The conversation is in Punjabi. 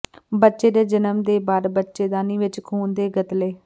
ਬੱਚੇ ਦੇ ਜਨਮ ਦੇ ਬਾਅਦ ਬੱਚੇਦਾਨੀ ਵਿਚ ਖੂਨ ਦੇ ਗਤਲੇ